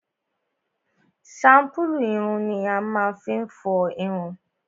shampulu ìrùn ni a máá fi n fọ ìrùn.